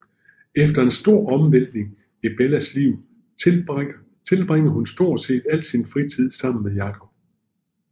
Efter en stor omvæltning i Bellas liv tilbringer hun stort set al sin fritid sammen med Jacob